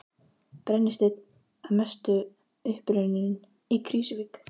Brennisteinn að mestu uppurinn í Krýsuvík.